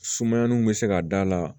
Sumayaninw bɛ se ka da la